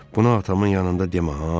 Bunu atamın yanında demə ha!